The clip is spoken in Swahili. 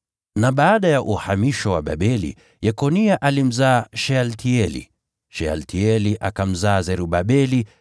Baada ya uhamisho wa Babeli: Yekonia alimzaa Shealtieli, Shealtieli akamzaa Zerubabeli,